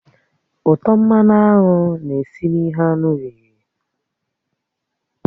Útọ̀ mmanụ aṅụ na-esi na ihe anụ riri